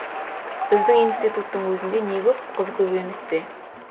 біздің институттың өзінде не көп қыз көп емес пе